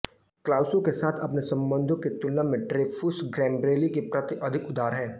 Clouseau के साथ अपने संबंधों की तुलना में ड्रेफुस गैम्ब्रेली के प्रति अधिक उदार है